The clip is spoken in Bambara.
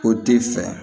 O t'i fɛ